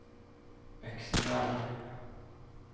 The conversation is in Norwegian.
Øksendal